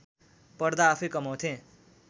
पढ्दा आफैँ कमाउँथे